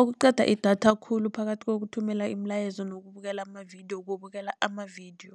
Okuqeda idatha khulu phakathi kokuthumela imilayezo nokubukela amavidiyo, kubukela amavidiyo